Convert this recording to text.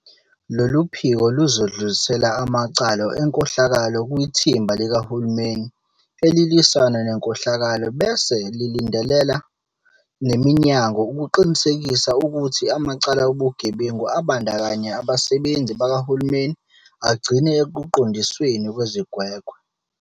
Lolu phiko luzodlulisela amacala enkohlakalo kwiThimba Likahulumeni Elilwisana Nenkohlakalo bese lilandelela neminyango ukuqinisekisa ukuthi amacala obugebengu abandakanya abasebenzi bakahulumeni agcina ekuqondisweni kwezigwegwe.